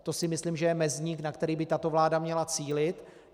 To si myslím, že je mezník, na který by tato vláda měla cílit.